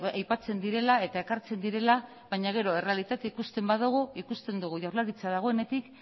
aipatzen direla eta ekartzen direla baina gero errealitatea ikusten badugu ikusten dugu jaurlaritza dagoenetik